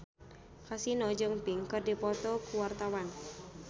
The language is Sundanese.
Kasino jeung Pink keur dipoto ku wartawan